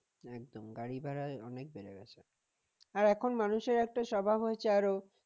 একদম গাড়ি ভাড়া অনেক বেড়ে গেছে আর এখন মানুষের একটা স্বভাব হয়েছে আরো